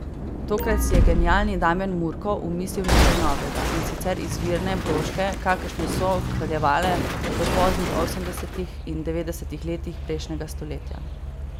Tokrat si je genialni Damjan Murko omislil nekaj novega, in sicer izvirne broške, kakršne so kraljevale v poznih osemdesetih in devetdesetih letih prejšnjega stoletja.